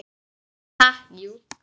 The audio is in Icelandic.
Ha, jú.